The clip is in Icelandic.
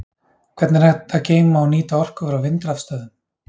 Hvernig er hægt að geyma og nýta orku frá vindrafstöðvum?